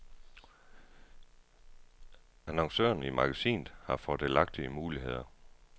Annoncørerne i magasinet har fordelagtige muligheder.